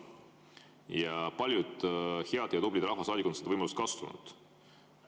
Ja paljud head ja tublid rahvasaadikud on seda võimalust kasutanud.